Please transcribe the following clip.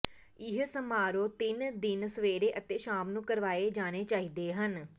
ਇਹ ਸਮਾਰੋਹ ਤਿੰਨ ਦਿਨ ਸਵੇਰੇ ਅਤੇ ਸ਼ਾਮ ਨੂੰ ਕਰਵਾਏ ਜਾਣੇ ਚਾਹੀਦੇ ਹਨ